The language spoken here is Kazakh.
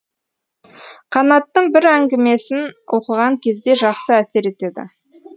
қанаттың бір әңгімесін оқыған кезде жақсы әсер етеді